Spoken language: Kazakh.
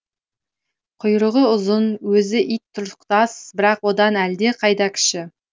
құйрығы ұзын өзі ит тұрықтас бірақ одан әлдеқайда кіші